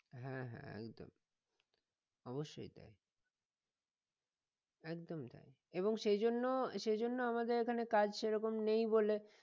হ্যাঁ হ্যাঁ একদম অবশ্যই তাই একদমই তাই এবং সেইজন্য সেইজন্য আমাদের এখানে কাজ সেরকম নেই বলে